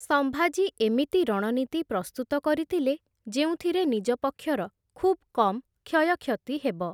ସମ୍ଭାଜୀ ଏମିତି ରଣନୀତି ପ୍ରସ୍ତୁତ କରିଥିଲେ ଯେଉଁଥିରେ ନିଜ ପକ୍ଷର ଖୁବ୍‌ କମ୍‌ କ୍ଷୟକ୍ଷତି ହେବ ।